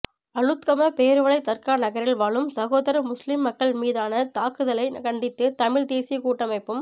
அளுத்கம பேருவளை தர்கா நகரில் வாழும் சசோதர முஸ்லீம் மக்கள் மீதானதாக்குதலைகண்டித்துதமிழ் தேசிய கூட்டமைப்பும்